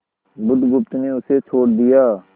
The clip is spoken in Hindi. बुधगुप्त ने उसे छोड़ दिया